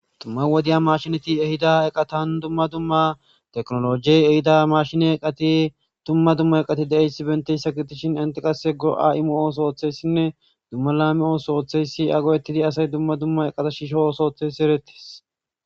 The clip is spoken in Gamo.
Duma wodeyi mashinneti ehhida eqqatan duma duma tekinnologeyi ehidda mashinne eqqati duma duma eqati de'yaysi bentayissa gidishin entti qase duma duma go'a emmo oththo oththiyaysine duma lame otho oththiyayisi eya goettidi asayi duma duma eqqata shisho otho othiyayis erettes.